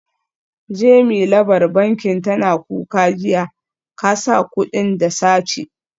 Jemi labar bankin tana kuka jiya, kasa kudin da sace